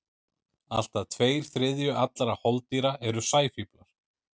Allt að tveir þriðju allra holdýra eru sæfíflar.